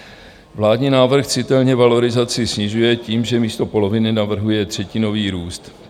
Vládní návrh citelně valorizaci snižuje tím, že místo poloviny navrhuje třetinový růst.